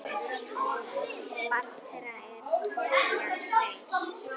Barn þeirra er Tobías Freyr.